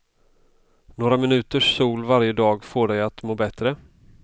Några minuters sol varje dag får dig att må bättre.